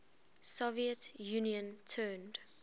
soviet union turned